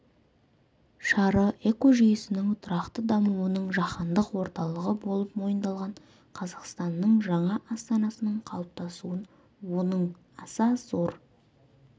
шары экожүйесінің тұрақты дамуының жаһандық орталығы болып мойындалған қазақстанның жаңа астанасының қалыптасуын оның аса зор